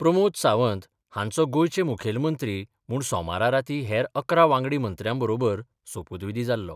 प्रमोद सावंत हांचो गोंयचे मुखेलमंत्री म्हुण सोमारा राती हेर अकरा वांगडी मंत्र्यांबरोबर सोपुतविधी जाल्लो.